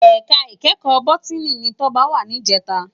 Èká ikèékò bòtìní ni Toba wá nijètá